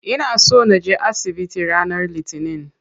Ina so naje asibiti ranar litinin.